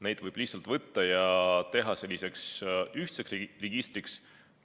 Need võib lihtsalt ette võtta ja teha selliseks ühtseks registriks.